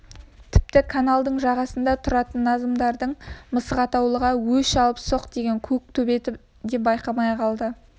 тіпті каналдың жағасында тұратын назымдардың мысық атаулыға өш алыпсоқ деген көк төбеті де байқамай қалды